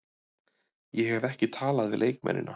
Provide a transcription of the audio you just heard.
Ég hef ekki talað við leikmennina.